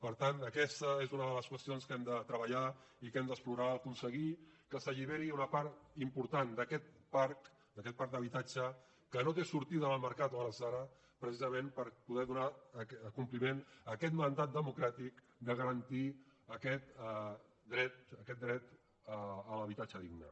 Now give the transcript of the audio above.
per tant aquesta és una de les qüestions que hem de treballar i que hem d’explorar aconseguir que s’alliberi una part important d’aquest parc d’aquest parc d’habitatge que no té sortida en el mercat a hores d’ara precisament per poder donar compliment a aquest mandat democràtic de garantir aquest dret a l’habitatge digne